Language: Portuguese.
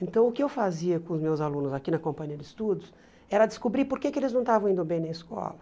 Então, o que eu fazia com os meus alunos aqui na Companhia de Estudos era descobrir porque que eles não estavam indo bem na escola.